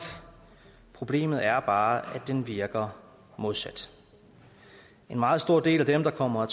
problemet er bare at den virker modsat en meget stor del af dem der kommer